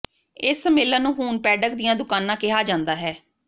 ਇਸ ਸੰਮੇਲਨ ਨੂੰ ਹੁਣ ਪੈਡਕ ਦੀਆਂ ਦੁਕਾਨਾਂ ਕਿਹਾ ਜਾਂਦਾ ਹੈ